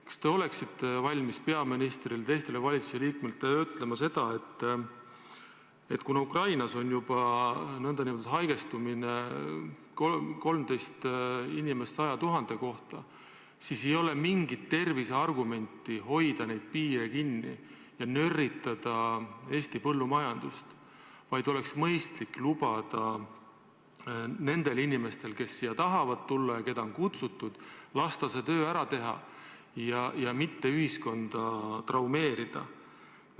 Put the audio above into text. Kas te oleksite valmis peaministrile ja teistele valitsuse liikmetele ütlema seda, et kuna Ukrainas on koroonahaigestumus 13 inimest 100 000 kohta, siis ei ole mingit terviseargumenti hoida meie piiri kinni ja nörritada Eesti põllumajandust, vaid oleks mõistlik lubada inimesed, kes siia tahavad tulla ja keda on siia kutsutud, üle piiri ja lasta see töö ära teha ja mitte ühiskonda traumeerida?